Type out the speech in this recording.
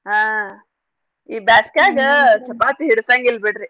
ಹಾ ಈ ಬ್ಯಾಸ್ಗ್ಯಾಗ ಚಪಾತಿ ಹಿಡ್ಸಂಗಿಲ್ ಬಿಡ್ರಿ.